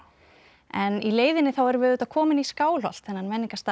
en í leiðinni þá erum við auðvitað komin í Skálholt þennan